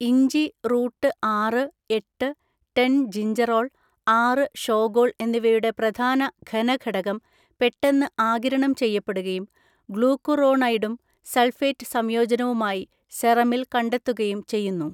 ഇഞ്ചി റൂട്ട് ആറ്, എട്ട്, ടെൻ ജിഞ്ചറോൾ, ആറ് ഷോഗോൾ എന്നിവയുടെ പ്രധാന ഘനഘടകം പെട്ടെന്ന് ആഗിരണം ചെയ്യപ്പെടുകയും ഗ്ലൂക്കുറോണൈഡും സൾഫേറ്റ് സംയോജനവുമായി സെറമിൽ കണ്ടെത്തുകയും ചെയ്യുന്നു.